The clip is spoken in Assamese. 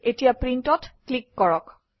এতিয়া Print অত ক্লিক কৰক